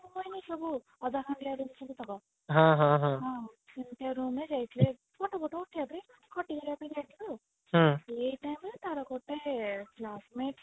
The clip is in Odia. ହଁ ସେମତିଆ room ରେ ରହୁଥିଲା ସେଇ time ରେ ତାର ଗୋଟେ flash light